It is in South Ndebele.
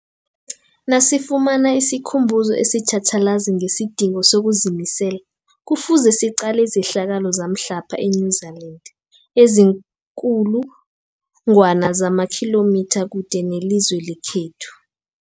Nasifuna isikhumbuzo esitjhatjhalazi ngesidingo sokuzimisela, Kufuze siqale izehlakalo zamhlapha e-New Zealand eziinkulu ngwana zamakhilomitha kude nelizwe lekhethu.